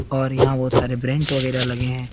और यहाँ बहुत सारे ब्रेंच वगेरा लगे हैं।